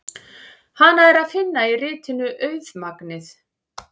Hana er að finna í ritinu Auðmagnið.